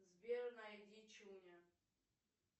сбер найди чуня